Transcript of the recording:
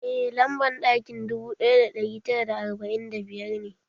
Eh lamban ɗakin dubu ɗaya da ɗari tara arba'in da biyar ne